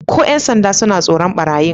Ko ‘yan sanda suna tsoron barayin